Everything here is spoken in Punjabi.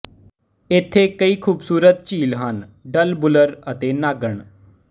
ਇੱਥੇ ਕਈ ਖ਼ੂਬਸੂਰਤ ਝੀਲ ਹਨ ਡਲ ਵੁਲਰ ਅਤੇ ਨਾਗਣ